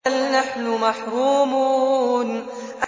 بَلْ نَحْنُ مَحْرُومُونَ